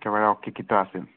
একেবাৰে অশিক্ষিত আছিল।